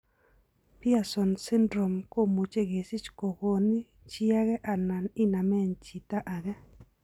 Pierson syndrome komuche kesich kogoni chi age alan inamen chita age.